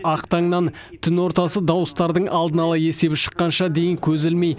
ақ таңнан түн ортасы дауыстардың алдын ала есебі шыққанша дейін көз ілмей